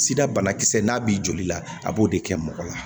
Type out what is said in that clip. Sida banakisɛ n'a b'i joli la a b'o de kɛ mɔgɔ la